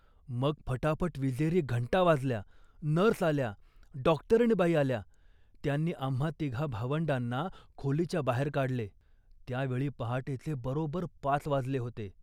मग फटाफट विजेरी घंटा वाजल्या, नर्स आल्या, डॉक्टरीणबाई आल्या, त्यांनी आम्हा तिघा भावंडांना खोलीच्या बाहेर काढले. त्या वेळी पहाटेचे बरोबर पाच वाजले होते